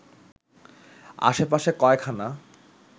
আশে পাশে কয়খানা